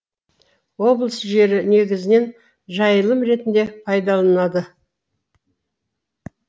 облыс жері негізінен жайылым ретінде пайдаланылады